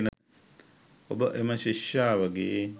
ඔබ එම ශිෂ්‍යාවගේ